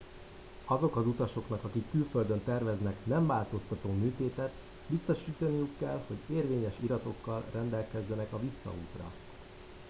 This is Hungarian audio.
azok az utasoknak akik külföldön terveznek nemváltoztató műtétet biztosítaniuk kell hogy érvényes iratokkal rendelkeznek a visszaútra